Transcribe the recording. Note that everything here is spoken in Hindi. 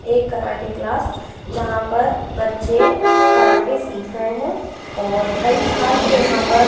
एक कराटे क्लास जहां पर बच्चे कराटे सीख रहे हैं और कई छात्र यहां पर--